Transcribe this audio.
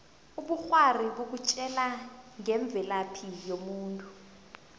ubukghwari bukutjela ngemvelaphi yomuntu